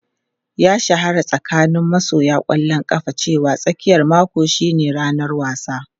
Ya shahara a tsakanin masoya ƙwallon kafa cewa tsakiyar mako shine ranar wasa.